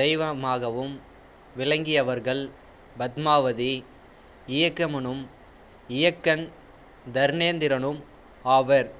தெய்வமாகவும் விளங்கியவர்கள் பத்மாவதி இயக்கியம்மனும் இயக்கன் தர்னேந்திரனும் ஆவர்